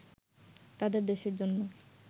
তাদের দেশের জন্যে